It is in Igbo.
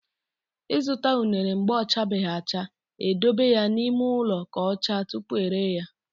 I zụta unere mgbe ọ chabeghị acha, e dobe ya n'ime ụlọ ka ọ chaa tupu e ree ya.